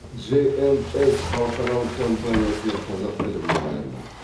джэй энд эс халықаралық компаниясының қазақ тілі мұғалімі